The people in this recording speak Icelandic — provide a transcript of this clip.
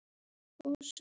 Hún eldist fjandi vel.